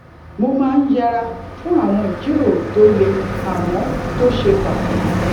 mo máa ń yẹra fún àwọn ìjíròrò tó le àmó tó ṣe pàtàkì